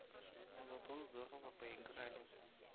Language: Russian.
но зато здорово поиграли